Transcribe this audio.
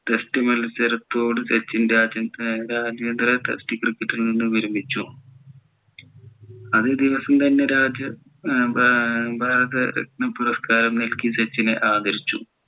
test മത്സരത്തോട് സച്ചിൻ രാജ്യാന്തര test cricket ൽ നിന്ന് വിരമിച്ചു അതെ ദിവസം തന്നെ ഭാരത രത്ന പുരസ്‌കാരം നൽകി സച്ചിനെ ആദരിച്ചു